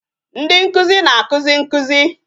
Ndị nkụzi na-akụzi nkụzi